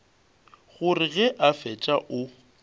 gore ge a fetša o